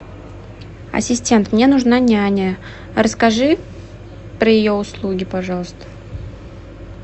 ассистент мне нужна няня расскажи про ее услуги пожалуйста